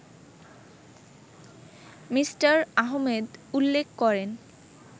me: Ahmed উল্লেখ করেন